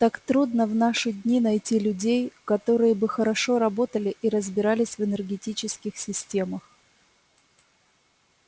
так трудно в наши дни найти людей которые бы хорошо работали и разбирались в энергетических системах